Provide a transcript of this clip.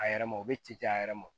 A yɛrɛ ma o bɛ ci a yɛrɛ ma